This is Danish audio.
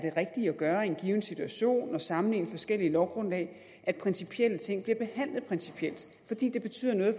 gøre i en given situation og sammenligne forskellige lovgrundlag at principielle ting bliver behandlet principielt fordi det betyder noget